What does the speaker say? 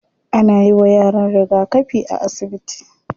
Ana yiwa yaran rigakafi a asibiti.